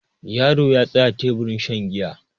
yaro ya tsaya teburin shan giya